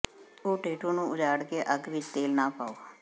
ੇ tattoo ਨੂੰ ਉਜਾੜ ਕੇ ਅੱਗ ਵਿਚ ਤੇਲ ਨਾ ਪਾਓ